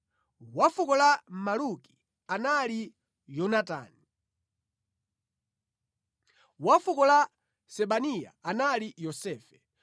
wa fuko la Maluki anali Yonatani; wa fuko la Sebaniya anali Yosefe;